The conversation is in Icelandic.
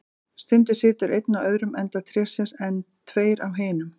Stundum situr einn á öðrum enda trésins, en tveir á hinum.